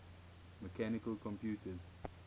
mechanical computers